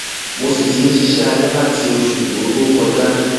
mo sì ti ń ṣiṣẹ alẹ láti oṣù tó tó kọjá